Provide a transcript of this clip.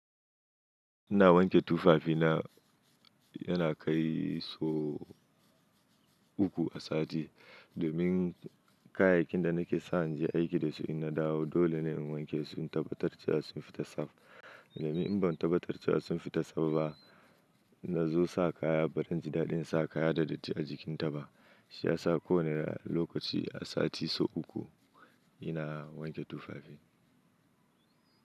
Ina wanke tufafi na yana kai so uku a sati. Domin kayayyakin da nake sa in je aiki da su in na dawo dole ne in wanke su in tabbatar cewa sun fita safa. Domin in ban tabbatar cewa sun fita tsaf ba, in na zo sa kaya baran ji daɗin sa kaya da datti a jikinta ba. Shi ya sa ko wane lokaci a sati so uku ina wanke tufafi.